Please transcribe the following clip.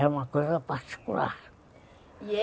É uma coisa particular. E é